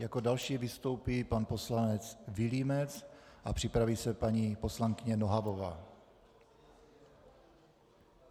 Jako další vystoupí pan poslanec Vilímec a připraví se paní poslankyně Nohavová.